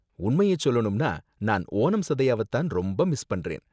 உண்மையை சொல்லணும்னா நான் ஓணம் சதயாவ தான் ரொம்ப மிஸ் பண்றேன்.